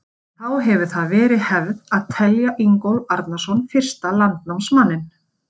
Síðan þá hefur það verið hefð að telja Ingólf Arnarson fyrsta landnámsmanninn.